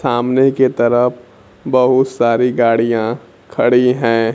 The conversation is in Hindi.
सामने के तरफ बहुत सारी गाड़ियां खड़ी हैं।